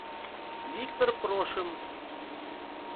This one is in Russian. виктор прошин